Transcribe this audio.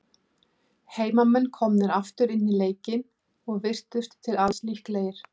Heimamenn komnir aftur inn í leikinn, og virtust til alls líklegir.